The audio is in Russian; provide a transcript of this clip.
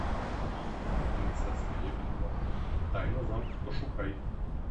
принцесса лебедь два тайна замка пошукай